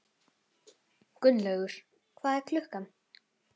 Gunnlaugur, hvað er klukkan?